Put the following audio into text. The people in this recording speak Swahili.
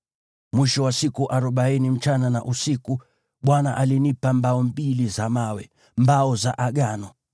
Mwisho wa siku arobaini usiku na mchana, Bwana alinipa mbao mbili za mawe, mbao za Agano.